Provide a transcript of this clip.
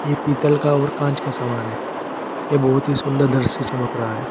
ये पीतल का और कांच का सामान है यह बहुत ही सुंदर दर से चमक रहा है।